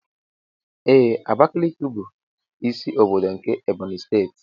Ee Abakiliki bụ ịsị ọbọdọ nke Ebonyi steeti.